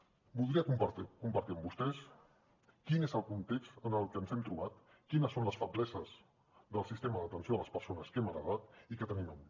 voldria compartir amb vostès quin és el context en què ens hem trobat quines són les febleses del sistema d’atenció a les persones que hem heretat i que tenim avui